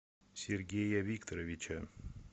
сергея викторовича